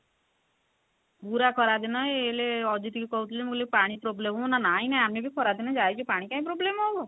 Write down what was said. ପୁରା ଖରା ଦିନ ଏଇଲେ ଅଜିତ କୁ କହୁଥିଲି ମୁଁ କହିଲି ପାଣି problem ହବ ନା ନାଇଁ ନାଇଁ ଆମେ ବି ଖରା ଦିନେ ଯାଇଛୁ ପାଣି କାଇଁ problem ହବ